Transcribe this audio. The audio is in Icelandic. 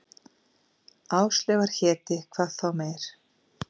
Áslaugar héti, hvað þá meir.